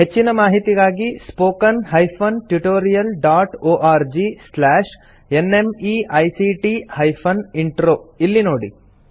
ಹೆಚ್ಚಿನ ಮಾಹಿತಿಗಾಗಿ spoken hyphen tutorial dot org slash NMEICT hyphen intro ಇಲ್ಲಿ ನೋಡಿ